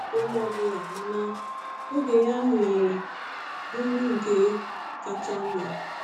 atughim anya nnọkọ onye ọbụla, mana oge ya wee bụrụ nke kacha mma.